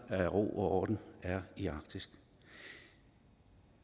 ro og orden i arktis